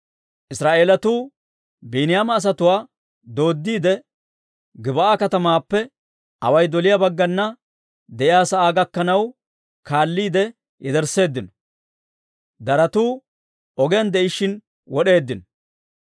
Israa'eelatuu Biiniyaama asatuwaa dooddiide, Gib'aa katamaappe away doliyaa bagganna de'iyaa sa'aa gakkanaw kaalliide yedersseeddino; c'oratuu ogiyaan de'ishshin wod'eeddino.